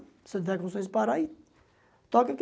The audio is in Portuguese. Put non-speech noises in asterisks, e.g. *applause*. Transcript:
Se eu estiver com condições de parar aí *unintelligible*